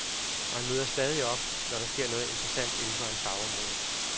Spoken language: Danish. Og han møder stadig op, når der sker noget interessant inden for hans fagområde.